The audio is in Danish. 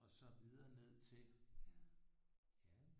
Og så videre ned til ja